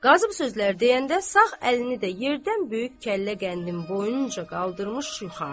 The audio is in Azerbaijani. Qazı bu sözlər deyəndə sağ əlini də yerdən böyük kəllə qəndin boyunca qaldırmış yuxarı.